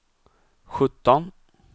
sjutton